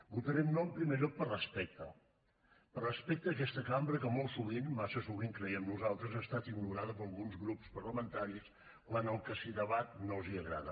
votarem no en primer lloc per respecte per respecte a aquesta cambra que molt sovint massa sovint ho creiem nosaltres ha estat ignorada per alguns grups parlamentaris quan el que s’hi debat no els agrada